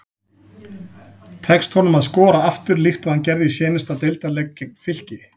Tekst honum að skora aftur líkt og hann gerði í seinasta deildarleik gegn Fylki?